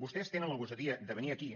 vostès tenen la gosadia de venir aquí